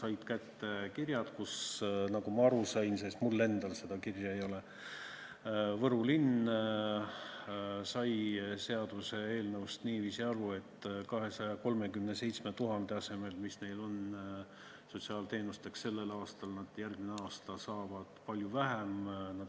Nad on saanud kirja, kust on selgunud – nagu ma aru sain, mul endal seda kirja ei ole –, et Võru linnas saadi seaduseelnõust aru niiviisi, nagu 237 000 euro asemel, mis on seal sotsiaalteenusteks ette nähtud sellel aastal, saab Võru järgmine aasta palju vähem.